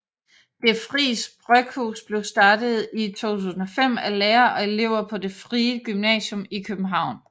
Det Fris Bryghus blev startet i 2005 af lærere og elever på Det frie Gymnasium i København